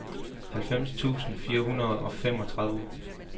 halvfems tusind fire hundrede og femogtredive